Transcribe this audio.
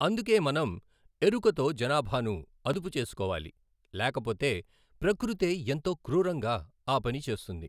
అందుకే మనం ఎరుకతో జనాభాను అదుపు చేసుకోవాలి లేకపోతే ప్రకృతే ఎంతోక్రూరంగా ఆ పని చేస్తుంది.